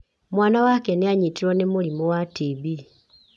Mwaana wake nĩ aanyitirũo nĩ mũrimũ wa TB.